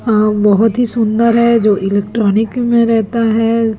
अह बहुत ही सुंदर है जो इलेक्ट्रॉनिक में रहता है।